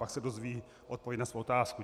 Pak se dozví odpověď na svou otázku.